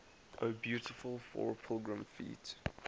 o beautiful for pilgrim feet